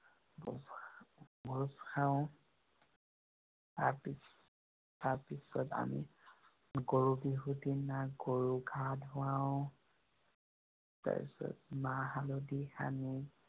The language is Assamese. ভোঁজ খাওঁ। তাৰপিছত, তাৰপিছত আমি গৰু বিহু দিনা গৰু গা ধোৱাও। তাৰপিছত মাহ হালধি সানি